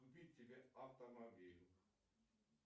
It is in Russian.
купить себе автомобиль